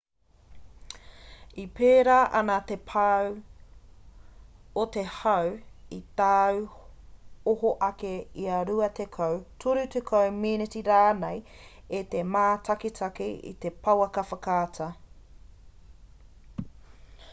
e pērā ana te pau o te hau i tāu oho ake ia rua tekau toru tekau meneti rānei me te mātakitaki i te pouaka whakaata